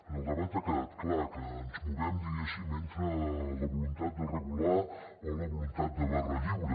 en el debat ha quedat clar que ens movem diguéssim entre la voluntat de regular o la voluntat de barra lliure